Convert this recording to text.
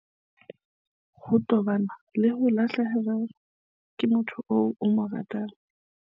Ho tobana le ho lahlehelwa ke motho eo o mo ratang